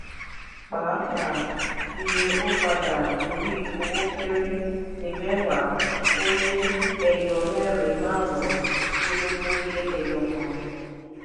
pàápàá iye ó padà lórí owó kéré ní mẹ́wàá ó um lé ẹyọ mẹ́rin márùn-ún dínlógún lé ẹyọ kan.